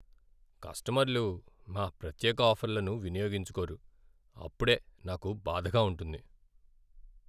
కస్టమర్లు మా ప్రత్యేక ఆఫర్లను వినియోగించుకోరు. అప్పుడే నాకు బాధగా ఉంటుంది.